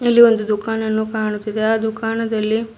ಇಲ್ಲಿ ಒಂದು ದುಕಾನ್ ಅನ್ನು ಕಾಣುತ್ತಿದೆ ಆ ದುಕಾನದಲ್ಲಿ --